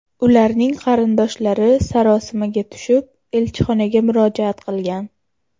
Ularning qarindoshlari sarosimaga tushib, elchixonaga murojaat qilgan.